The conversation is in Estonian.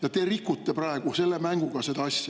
Aga te rikute praegu selle mänguga seda asja.